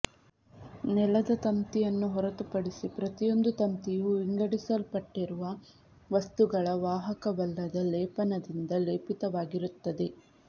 ನೆಲದ ತಂತಿಯನ್ನು ಹೊರತುಪಡಿಸಿ ಪ್ರತಿಯೊಂದು ತಂತಿಯೂ ವಿಂಗಡಿಸಲ್ಪಟ್ಟಿರುವ ವಸ್ತುಗಳ ವಾಹಕವಲ್ಲದ ಲೇಪನದಿಂದ ಲೇಪಿತವಾಗಿರುತ್ತದೆ